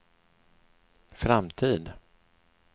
framtid